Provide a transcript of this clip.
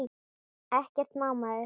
Ekkert má maður!